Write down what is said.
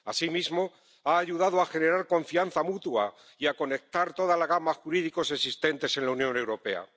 Asimismo, ha ayudado a generar confianza mutua y a conectar toda la gama de instrumentos jurídicos existentes en la Unión Europea.